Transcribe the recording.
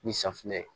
Ni safinɛ ye